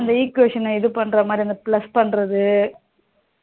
அந்த equation இது பண்ணுற மாதிரி அந்த plus பண்ணுறது